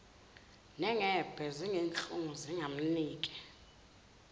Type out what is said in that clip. nengebhe nezinhlungu zingamnike